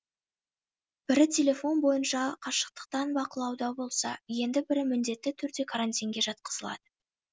бірі телефон бойынша қашықтықтан бақылауда болса енді бірі міндетті түрде карантинге жатқызылады